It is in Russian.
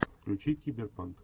включи киберпанк